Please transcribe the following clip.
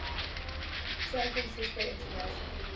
san francisco international